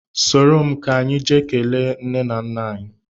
Soro m ka anyị jee kelee nne m na nna m